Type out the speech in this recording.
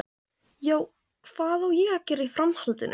Já, hvað á að gera í framhaldinu?